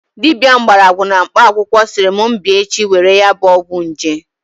Dibia mgborogwu na mkpa akwukwo siri m bia echi were ya bu ogwu nje